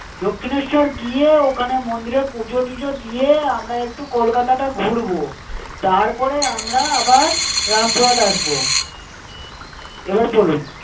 দক্ষিণেশ্বর গিয়ে ওখানে মন্দিরে পুজো-টুজো দিয়ে আমরা একটু কলকাতাটা ঘুরব। তারপরে আমরা আবার রামপুরহাট আসবো। এবার বলুন।